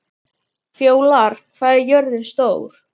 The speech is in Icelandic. Fjólar, hvað er jörðin stór?